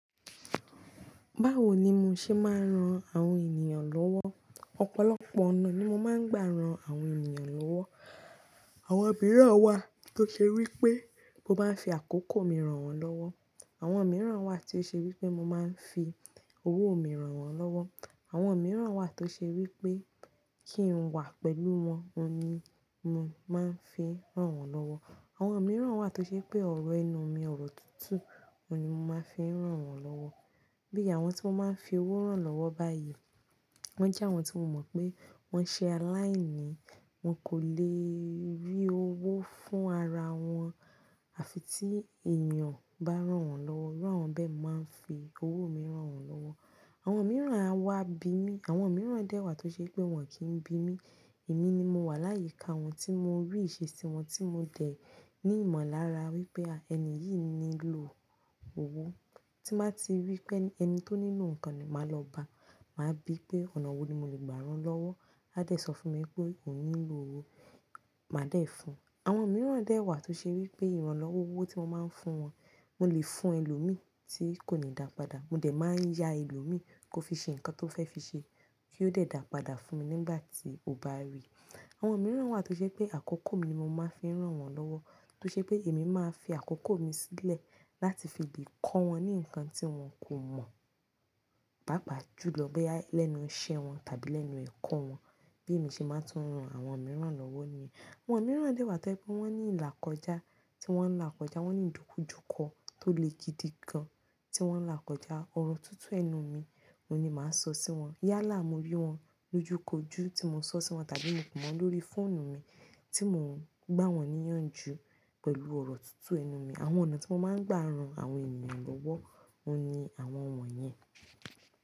Báwo ni mo ṣe máa ń ran àwọn ènìyàn lọ́wọ́? Ọ̀pọ̀lọpọ̀ ọ̀nà ni mo máa ń gbà ran àwọn ènìyàn lọ́wọ́. Àwọn míràn wa, to ṣe wipe, mo maa n fi àkókò mi ran wọ́n lọ́wọ́. Àwọn mìíràn wà tí ó ṣe wí pé mo máa ń fi owó mi ràn wọ́n lọ́wọ́. Àwọn mìíràn wà tó ṣe wí pé kí n wà pẹ̀lú wọn oun ni mo máa ń fi ràn wọ́n lọ́wọ́. Àwọn mìíràn wà tó ṣe pé ọ̀rọ̀ ẹnú mi, ọ̀rọ̀ tútù, òun ni mo máa ń fi ràn wọ́n lọ́wọ́. Bí i àwọn tí wọ́n máa ń fi owó ràn lọ́wọ́ báyìí, wọ́n jẹ́ àwọn tí mo mọ̀ pé wọ́n ṣe aláìní, wọn kò lè rí owó fún ara wọn àfi tí ènìyàn bá ràn wọ́n lọ́wọ́. Irú àwọn bẹ́ẹ̀ mo máa ń fi owó mi ràn wọ́n lọ́wọ́. Àwọn mìíràn á wá bi mí, àwọn mìíràn dẹ́ wà tó ṣe pé wọn kì n bi mi. Èmi ni mo wà láyìí ká wọn tí mo rí ìṣe sí wọn tí mo dẹ̀ ní ìmọ̀lára wípé ẹni yìí nílò owó. Tí màá ti rí pé ẹni tó nílò nǹkan ni màá lọ bá, màá bí pé ọ̀nà wo ni mo lè gbà rán lọ́wọ́. A dẹ̀ sọ fún mi pé òun nílò owó, màá dẹ̀ fun. Àwọn mìíràn dẹ́ wà tó ṣe wí pé ìranlọ́wọ́ owó tí mo máa ń fún wọn, mo lè fún ẹlòmíì tí kò ní dàpåda. Mo dẹ máa n ya ẹlòmíì, ko fi ṣe nkan to fẹ fi ṣe, ki o dẹ da padà fún mi nígbà tí o ba ri. Àwọn mìíràn wà tó ṣe pé àkókò mi ni mo máa ń fi ràn wọ́n lọ́wọ́, tó ṣe pé èmi máa fi àkókò mi sílẹ̀ láti fi lè kọ́ wọn ní nǹkan tí wọn kò mọ̀, pàápàá jùlọ bóyá lẹ́nu iṣẹ́ wọn tàbí lẹ́nu ẹ̀kọ́ wọn. Bí èmi ṣe máa ń tún ran àwọn mìíràn lọ́wọ́ ni. Àwọn mìíràn dẹ́ wà tó ẹ pé wọ́n ní ìlàkọjá tí wọ́n n là kọjá, wọ́n ní ìdókújúkọ tó le gidi gan tí wọ́n n là kọjá. Ọ̀rọ̀ tútù ẹnu mi, oun ni màá sọ sí wọn. Yálà, mo rí wọn lójúkójú tí mo sọ sí wọn tàbí mo pé won lórí fóònù mi tí mò ń gbá wọn níyànjú pẹ̀lú ọ̀rọ̀ tútù ẹnu mi. Àwọn ọ̀nà tí mo máa ń gbà ran àwọn ènìyàn lọ́wọ́ ni àwọn ọ̀nà yẹn.